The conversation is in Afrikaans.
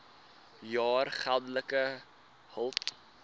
jaar geldelike hulp